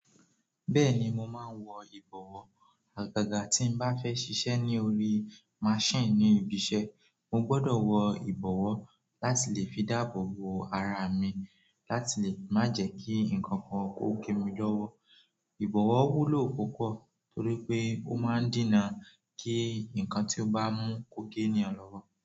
Bẹ́ẹ̀ni mo máa ń wọ ìbọ̀wọ́. Àgàgà tí n bá fẹ́ ṣiṣẹ́ ní orí machine ni ìbisẹ́, mo gbọdọ̀ wọ ìbọ̀wọ́ láti lè fi dáàbò bo ara mi láti lè má jẹ́ kí ǹkankan ó gé mi lọ́wọ́. Ibọwọ wúlò púpọ̀ torípé o má n dina ki nkán tí o ba mu ko ge ènìyàn lọwọ.